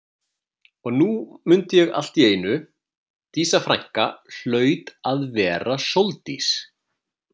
Og nú mundi ég allt í einu Dísa frænka hlaut að vera Sóldís.